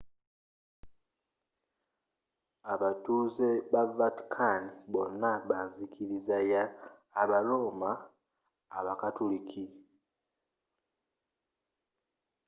abatuze be vatican bona banzikiriza y aba roma abakatuliki